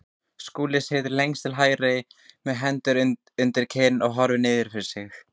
Skúli situr lengst til hægri með hendur undir kinn og horfir niður fyrir sig.